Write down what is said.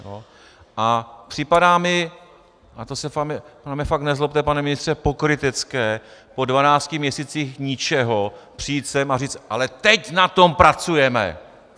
A připadá mi, a to se na mě fakt nezlobte, pane ministře, pokrytecké po 12 měsících ničeho přijít sem a říct: Ale teď na tom pracujeme.